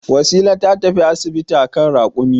Wasila ta tafi asibiti a kan rakumi.